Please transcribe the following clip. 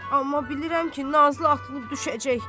Amma bilirəm ki, Nazlı atılıb düşəcək.